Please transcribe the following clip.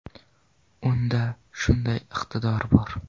Unda shunday iqtidor bor.